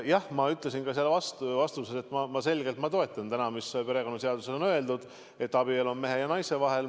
Jah, ma ütlesin vastuses, et ma selgelt toetan täna seda, mis perekonnaseaduses on öeldud, et abielu on mehe ja naise vahel.